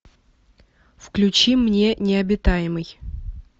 включи мне необитаемый